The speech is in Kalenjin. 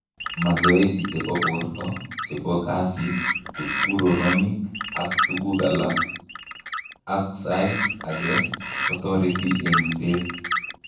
Masoesi chebo bortoo, chebo kasit, kipkuroronik ak tukug alak ak saait ake kotoreti eng'seet